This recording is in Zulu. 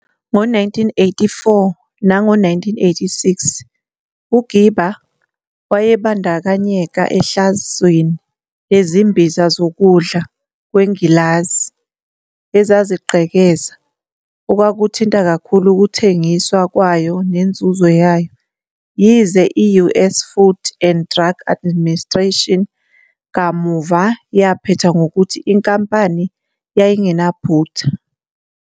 Ngo-1984 nango-1986, uGerber wayebandakanyeka ehlazweni lezimbiza zokudla kwengilazi ezazigqekeza, okwakuthinta kakhulu ukuthengiswa kwayo nenzuzo yayo, yize i-US Food and Drug Administration kamuva yaphetha ngokuthi inkampani yayingenaphutha.